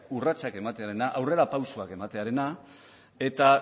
urratsak ematearena aurrerapausoak ematearena eta